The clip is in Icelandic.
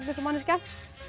eins og manneskja